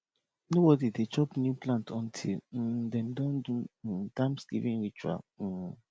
nobody dey chop new plant until um dem don do um thanksgiving ritual um